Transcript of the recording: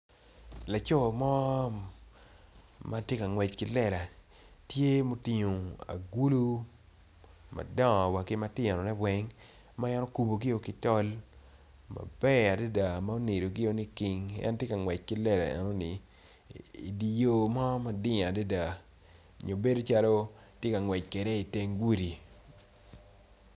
Laco mo mtye ka ngwec ki lela tye mutingo agulu madongo ki wa matinone weng maen okubogi o kitol maber adada ma onido gi o niking en tye ka ngwec ki lela enoni idi yo mo mading adada nyo bedo calo tye ka ngwec kede i tenge gudi.